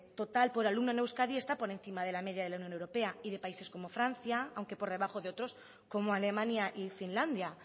total por alumno en euskadi está por encima de la media europea y de países como francia aunque por debajo de otros como alemania y finlandia